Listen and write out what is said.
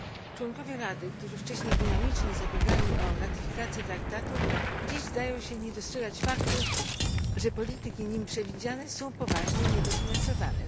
Członkowie Rady, którzy wcześniej dynamicznie zabiegali o ratyfikację traktatu, dziś zdają się nie dostrzegać faktu, że polityki w nim przewidziane są poważnie niedofinansowane.